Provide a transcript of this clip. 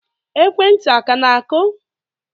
Ekwentị a ka na-akụ?